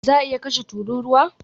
Za a iya kashe tururuwa?